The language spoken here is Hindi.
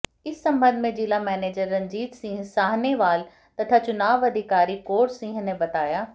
इस सम्बंध में जिला मैनेजर रणजीत सिंह साहनेवाल तथा चुनाव अधिकारी कौर सिंह ने बताया